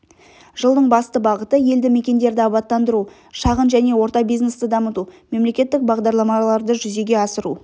жылдың басты бағыты елді мекендерді абаттандыру шағын және орта бизнесті дамыту мемлекеттік бағдарламаларды жүзеге асыру